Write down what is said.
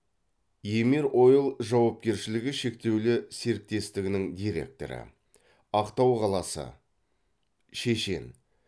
емир ойл жауапкершілігі шектеулі серіктестігінің директоры ақтау қаласы шешен